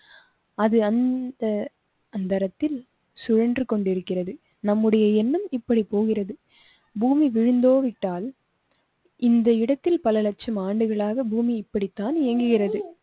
அது அந்த அந்தரத்தில் சுழன்று கொண்டிருக்கிறது. நம்முடைய எண்ணம் இப்படி போகிறது? பூமி விழுந்தோ விட்டால் இந்த இடத்தில் பல லட்சம் ஆண்டுகளாக பூமி இப்படித்தான் இயங்குகிறது